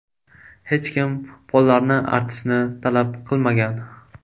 Hech kim pollarni artishni talab qilmagan.